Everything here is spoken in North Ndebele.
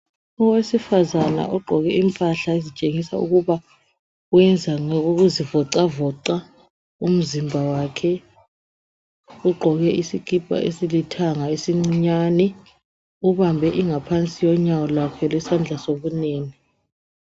Owesifazana ogqoke impahla ezitshengisa ukuba uyenza ngokuzivoxavoxa umzimba wakhe ugqoke isikipa esilithanga esicinyane ubambe ingaphasi konyawo lwakhe lesandla sokunene.